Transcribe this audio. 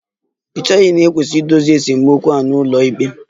Ì cheghị na e kwesịrị idozi esemokwu a n'ụlọikpe?